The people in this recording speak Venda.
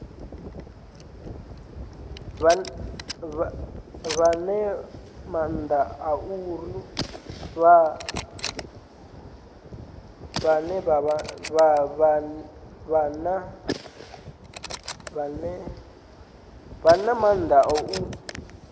vha na maanḓa a u